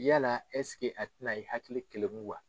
Yala a tɛna i hakili keleku wa?